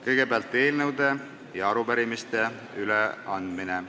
Kõigepealt on eelnõude ja arupärimiste üleandmine.